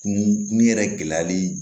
Kun yɛrɛ gɛlɛyali